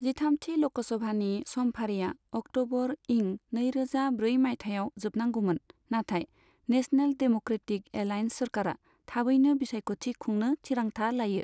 जिथामथि ल'कसभानि समफारिया अक्ट'बर इं नैरोजा ब्रै माइथायाव जोबनांगौमोन, नाथाय नेशनेल देम'क्रेटिक एलाइएन्स सोरखारा थाबैनो बिसायख'थि खुंनो थिरांथा लायो।